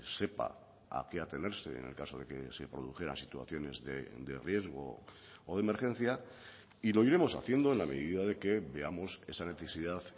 sepa a qué atenerse en el caso de que se produjera situaciones de riesgo o de emergencia y lo iremos haciendo en la medida de que veamos esa necesidad